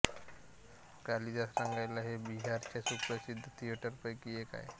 कालिदास रंगालय हे बिहारच्या सुप्रसिद्ध थिएटरपैकी एक आहे